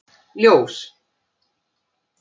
Ljós